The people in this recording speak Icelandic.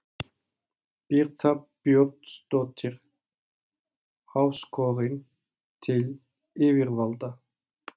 Birta Björnsdóttir: Áskorun til yfirvalda?